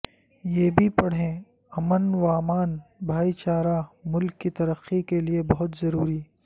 یہ بھی پڑھیں امن وامان بھائی چارہ ملک کی ترقی کے لئے بہت ضروری